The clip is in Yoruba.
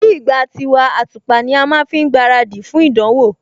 Nígbà tiwa, àtùpà ní a má ń fi gbaradì fún ìdánwò